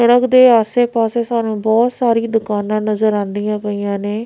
Truck ਦੇ ਆਸੇ ਪਾਸੇ ਸਾਨੂੰ ਬਹੁਤ ਸਾਰੀਆਂ ਦੁਕਾਨਾਂ ਨਜ਼ਰ ਆਂਦੀਆਂ ਪਈਆਂ ਨੇਂ।